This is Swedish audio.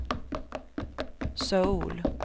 Söul